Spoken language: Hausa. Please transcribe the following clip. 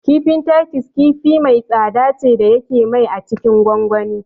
Kifin Titus kifi mai tsada ce da yake mai a cikin gongoni